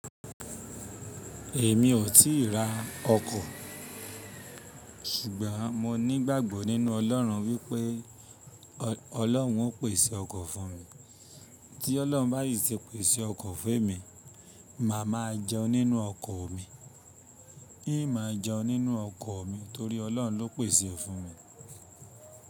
Èmi ò tí ì ra ọkọ̀, ṣùgbọ́n mo ní gbàgbọ́ nínú Ọlọ́run wí pé Ọlọ́run ó pèsè ọkọ̀ fún mi. Tí Ọlọ́run bá yìí ti pèsè ọkọ̀ fún emi, màá máa jẹun nínú ọkọ̀ mi. In mọ jẹun nínú ọkọ̀ mi torí Ọlọ́run ló pèsè ẹ fun mi.